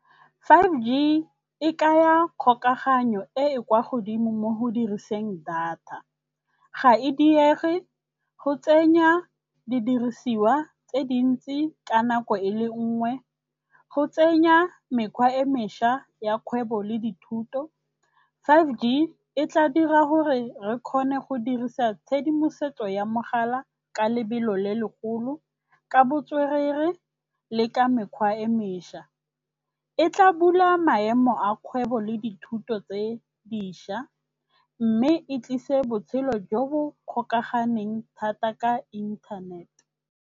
five G e kaya kgokaganyo e e kwa godimo mo go diriseng data. Ga e diege, go tsenya didirisiwa tse dintsi ka nako e le nngwe, go tsenya mekgwa e mešwa ya kgwebo le dithuto. five G e tla dira gore re kgone go dirisa tshedimosetso ya mogala ka lebelo le legolo, ka botswerere le ka mekgwa e mešwa. E tla bula maemo a kgwebo le dithuto tse dišwa, mme e tlise botshelo jo bo kgokaganeng thata ka inthanet.